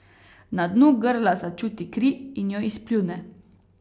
Na dnu grla začuti kri in jo izpljune.